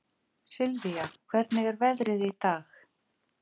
Sylvia, hvernig er veðrið í dag?